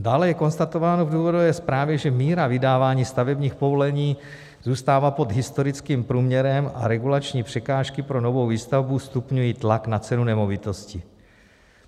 Dále je konstatováno v důvodové zprávě, že míra vydávání stavebních povolení zůstává pod historickým průměrem a regulační překážky pro novou výstavbu stupňují tlak na cenu nemovitostí.